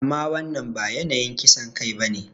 Amma wannan ba yanayin kisan kai ba ne.